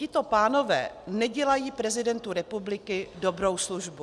Tito pánové nedělají prezidentu republiky dobrou službu.